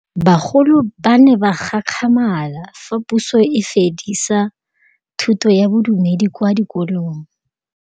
Bagolo ba ne ba gakgamala fa Pusô e fedisa thutô ya Bodumedi kwa dikolong.